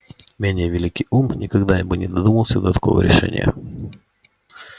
менее великий ум никогда бы не додумался до такого решения